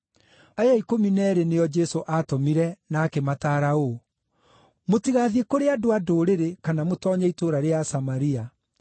Aya ikũmi na eerĩ nĩo Jesũ aatũmire na akĩmataara ũũ: “Mũtigathiĩ kũrĩ andũ-a-Ndũrĩrĩ kana mũtoonye itũũra rĩa Asamaria.